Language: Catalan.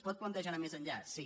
es pot plantejar anar més enllà sí